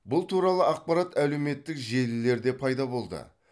бұл туралы ақпарат әлеуметтік желілерде пайда болды